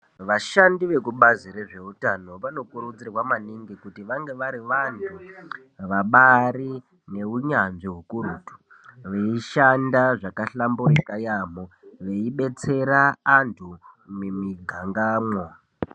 Vashandi vekubazi rezveutano vanokurudzirwa maningi kuti vange vari vantu vabarine hunyanzvi hukurutu. Veishanda zvakahlamburika yaambo veibetsera antu mimigangamwo.